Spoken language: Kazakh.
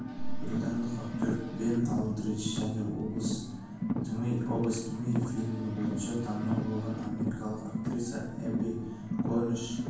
британдық актер бен алдридж және область тьмы фильмі бойынша танымал болған америкалық актриса эбби корниш